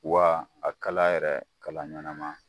Wa a kala yɛrɛ kala ɲanama